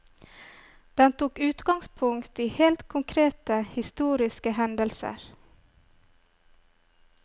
Den tok utgangspunkt i helt konkrete, historiske hendelser.